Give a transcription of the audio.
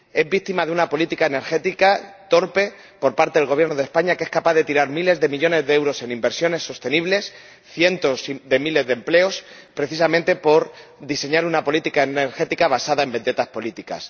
Víctima de una política energética torpe por parte del Gobierno de España, que es capaz de tirar miles de millones de euros en inversiones sostenibles y cientos de miles de empleos, precisamente por diseñar una política energética basada en vendettas políticas.